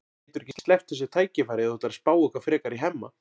Þú getur ekki sleppt þessu tækifæri ef þú ætlar að spá eitthvað frekar í Hemma.